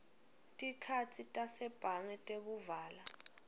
tikhatsi tasebhange tekuvala